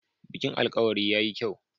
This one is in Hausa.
Bikin alkawari ya yi kyau.